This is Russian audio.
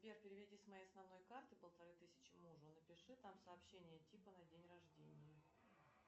сбер переведи с моей основной карты полторы тысячи мужу напиши там сообщение типа на день рождения